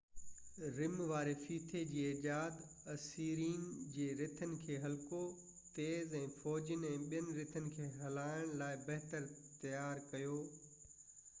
رم واري ڦيٿي جي ايجاد اسيرين جي رٿن کي هلڪو تيز ۽ فوجين ۽ ٻين رٿن کي هلائڻ لاءِ بهتر تيار ڪيو